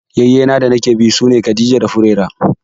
Ƴayyena danake bi sune Khadija da Furera.